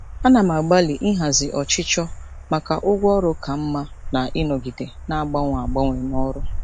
Ana m agbalị ịhazi ọchịchọ maka ụgwọ ọrụ ka mma na ịnọgide na-agbanwe agbanwe n'ọrụ.